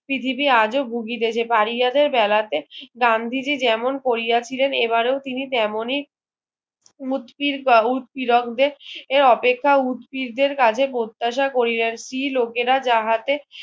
পৃথিবী আজও ভুগিতেছে পারিয়াদের বেলাতে গান্ধীজি যেমন করিয়াছিলেন এবারেও তিনি তেমনি মুটকীর উৎকীর্তিকদের এর অপেক্ষা উৎপীরদের কাজে প্রত্যাশা কোরিয়াছি লোকেরা যাহাতে